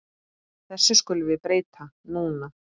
Þessu skulum við breyta núna.